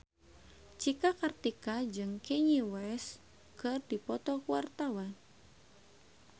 Cika Kartika jeung Kanye West keur dipoto ku wartawan